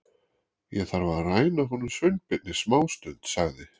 Ég þarf að ræna honum Sveinbirni smástund sagði